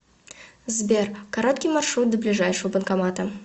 сбер короткий маршрут до ближайшего банкомата